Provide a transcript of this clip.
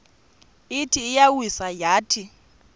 ithi iyawisa yathi